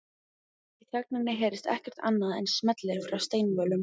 Í þögninni heyrist ekkert annað en smellir frá steinvölum